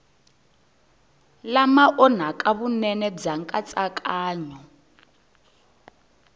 lama onhaka vunene bya nkatsakanyo